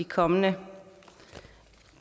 kommende